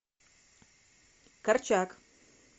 корчак